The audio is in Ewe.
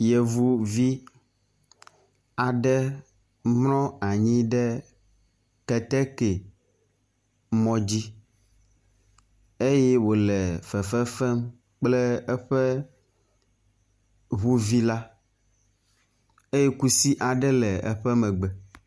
Yevuvi aɖe mlɔ anyi ɖe keteke mɔ dzi eye wo le fefefem kple eƒe ŋuvi la eye kusi ae le eƒe megbe.